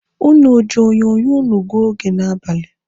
Ụnụ o ji onyonyo ụnụ gụọ oge n'abalị.